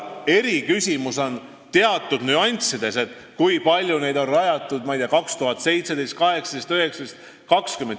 Eriküsimus on teatud nüanssides, kui palju neid on rajatud ja rajatakse 2017, 2018, 2019, 2020.